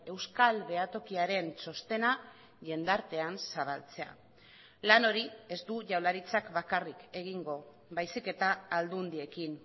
euskal behatokiaren txostena jendartean zabaltzea lan hori ez du jaurlaritzak bakarrik egingo baizik eta aldundiekin